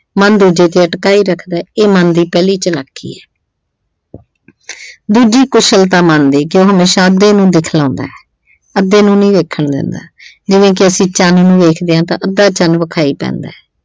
ਮਨ ਦੂਜੇ ਤੇ ਅਟਕਾਈ ਰੱਖਦਾ ਇਹ ਮਨ ਦੀ ਪਹਿਲੀ ਚਲਾਕੀ ਆ ਦੂਜੀ ਕੁਸ਼ਲਤਾ ਮਨ ਦੀ, ਕਿ ਉਹ ਨੂੰ ਦਿਖਲਾਉਂਦਾ। ਅੱਧੇ ਨੂੰ ਨਹੀਂ ਵੇਖਣ ਦਿੰਦਾ ਜਿਵੇਂ ਕਿ ਅਸੀਂ ਚੰਨ ਨੂੰ ਵੇਖਦੇ ਆਂ ਤਾਂ ਅੱਧਾ ਚੰਨ ਵਿਖਾਈ ਪੈਂਦਾ।